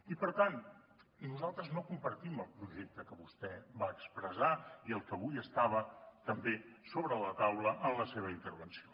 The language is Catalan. i per tant nosaltres no compartim el projecte que vostè va expressar i el que avui estava també sobre la taula en la seva intervenció